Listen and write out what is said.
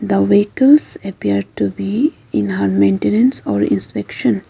the vehicles appear to be in a maintenance or inspection.